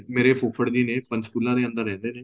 ਮੇਰੇ ਫੁੱਫੜ ਜੀ ਨੇ ਪੰਚਕੁਲਾ ਦੇ ਅੰਦਰ ਰਹਿੰਦੇ ਨੇ